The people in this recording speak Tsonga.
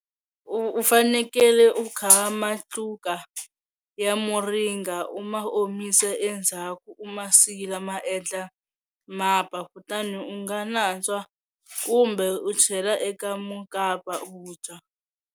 U fanekele ku kha matluka ya muringa u ma omisa endzhaku u ma sila ma endla mapa kutani u nga nantswa kumbe u chela eka mukapa u dya.